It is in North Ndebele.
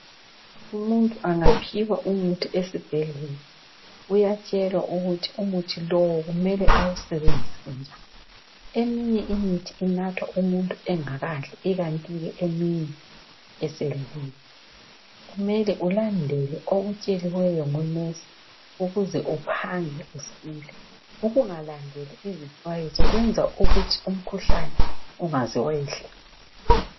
Umuntu angaphiwa umithi esibhedlela uyatshelwa ukuthi umuthi lowu kumele awusebenzise njani. Eminye imithi inathwa umuntu engakadli ikanti ke eminye esedlile kumele ulandele okutsheliweyo ngonensi ukuze uphange usile. Ukungalandeli izixwayiso kwenza ukuthi umkhuhlane ungaze wayehla.